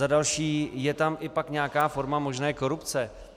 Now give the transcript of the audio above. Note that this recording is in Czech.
Za další - je tam pak i nějaká forma možné korupce?